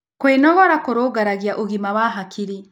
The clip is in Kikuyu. Kwĩnogora kũrũngagĩrĩrĩa ũgima wa hakĩrĩ